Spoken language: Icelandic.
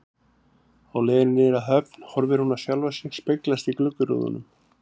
Á leiðinni niður að höfn horfir hún á sjálfa sig speglast í gluggarúðunum.